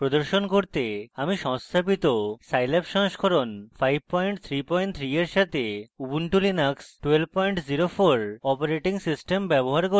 প্রদর্শন করতে আমি সংস্থাপিত scilab সংস্করণ 533 for সাথে ubuntu linux 1204 operating system ব্যবহার করছি